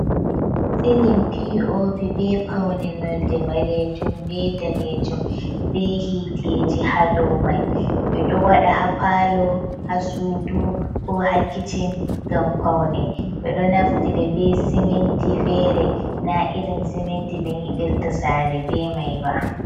Silin pi o pi be paune nolde ɓalejum be danejum be hiiteji ha domai, ɓe ɗo waɗa hapalo, ha sudu, ko hakicin gam paune, ɓe ɗo naftida be siminti fere na irin siminti ɓe nyiɓirta sare be mai ba.